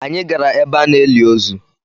Anyị gara ebe a na-eli ozu.